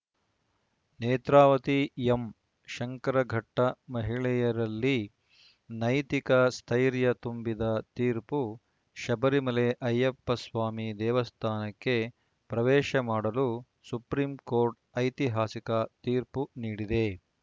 Netravati M Shankaraghatta ಮಹಿಳೆಯರಲ್ಲಿ ನೈತಿಕ ಸ್ಥೈರ್ಯ ತುಂಬಿದ ತೀರ್ಪು ಶಬರಿಮಲೆ ಅಯ್ಯಪ್ಪ ಸ್ವಾಮಿ ದೇವಸ್ಥಾನಕ್ಕೆ ಪ್ರವೇಶ ಮಾಡಲು ಸುಪ್ರೀಂಕೋರ್ಟ್‌ ಐತಿಹಾಸಿಕ ತೀರ್ಪು ನೀಡಿದೆ